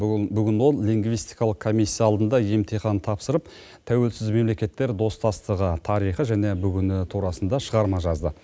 бүгін ол лингвистикалық комиссия алдында емтихан тапсырып тәуелсіз мемлекеттер достастығы тарихы және бүгіні турасында шығарма жазды